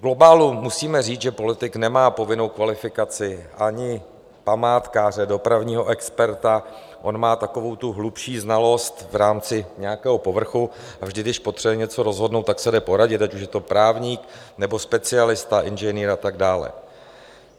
V globálu musíme říct, že politik nemá povinnou kvalifikaci ani památkáře, dopravního experta, on má takovou tu hlubší znalost v rámci nějakého povrchu a vždy, když potřebuje něco rozhodnout, tak se jde poradit, ať už je to právník nebo specialista, inženýr a tak dále.